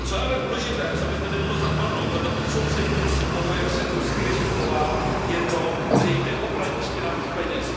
Co je ale důležité, co by zde nemělo zapadnout vedle odsouzení toho, jak se ruský režim chová, je to, že jde o praní špinavých peněz.